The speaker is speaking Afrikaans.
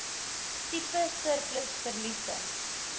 tipe surplus verliese